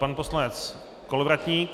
Pan poslanec Kolovratník.